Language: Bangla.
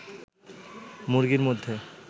মুরগির মধ্যে